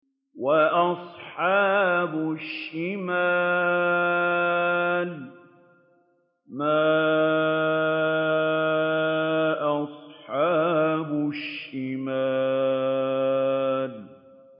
وَأَصْحَابُ الشِّمَالِ مَا أَصْحَابُ الشِّمَالِ